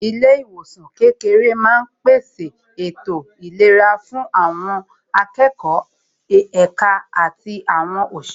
Ilé ìwòsàn kékeré máa ń pèsè ètò ìlera fún àwọn akẹ́kọ̀ọ́, èka àti àwọn òṣìṣẹ́